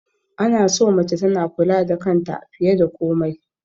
Ana so mace tana kula da kanta fiye da komai